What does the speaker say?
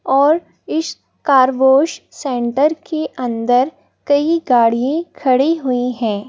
और इस car wash centre के अंदर कई गाड़ी खड़ी हुई हैं।